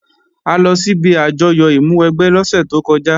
A lọ síbi àjọyọ̀ ìmúwẹgbẹ́ lọ́sẹ̀ tó kọjá